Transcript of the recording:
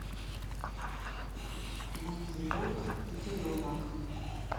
найти волк и теленок